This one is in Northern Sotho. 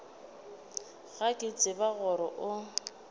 ga ke tsebe gore o